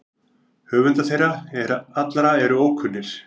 Höfundar þeirra allra eru ókunnir.